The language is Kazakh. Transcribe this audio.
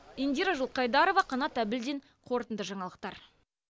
индира жылқайдарова қанат әбілдин қорытынды жаңалықтар